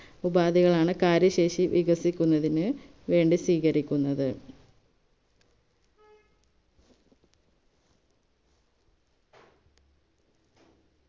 ഉപാധികളാണ് കാര്യശേഷി വികസിക്കുന്നതിന് വേണ്ടി സ്വീകരിക്കുന്നത്